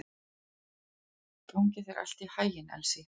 Gangi þér allt í haginn, Elsý.